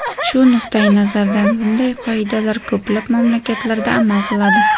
Shu nuqtayi nazardan bunday qoidalar ko‘plab mamlakatlarda amal qiladi.